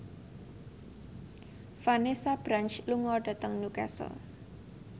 Vanessa Branch lunga dhateng Newcastle